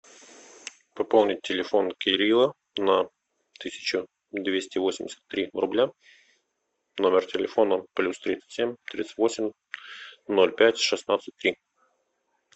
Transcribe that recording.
пополнить телефон кирилла на тысячу двести восемьдесят три рубля номер телефона плюс тридцать семь тридцать восемь ноль пять шестнадцать три